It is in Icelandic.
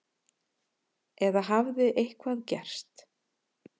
Eða hafði eitthvað gerst?